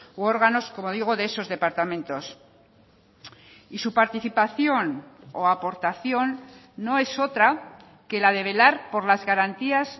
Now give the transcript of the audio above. u órganos como digo de esos departamentos y su participación o aportación no es otra que la de velar por las garantías